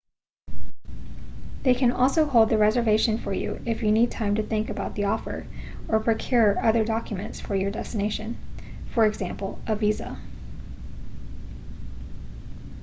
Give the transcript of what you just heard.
they can also hold the reservation for you if you need time to think about the offer or procure other documents for your destination e.g. visa